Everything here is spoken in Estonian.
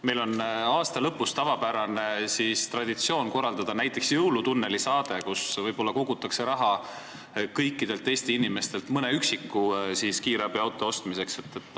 Meil on aasta lõpus traditsioon korraldada näiteks "Jõulutunneli" saade, kus kogutakse kõikidelt Eesti inimestelt raha võib-olla mõne üksiku kiirabiauto ostmiseks.